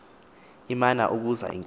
imana ukuza inkosi